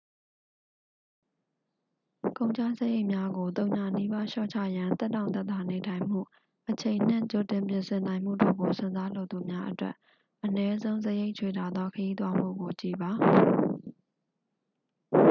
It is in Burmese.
ကုန်ကျစရိတ်များကို သုညနီးပါး လျှော့ချရန် သက်တောင့်သက်သာနေထိုင်မှု အချိန်နှင့် ကြိုပြင်နိုင်မှုတို့ကို စွန့်စားလိုသူများအတွက် အနည်းဆုံး စရိတ်ချွေတာသော ခရီးသွားမှုကို ကြည့်ပါ